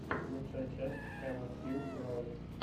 лучшая часть эван тьюб роу